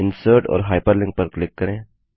insert और hyperlink पर click करें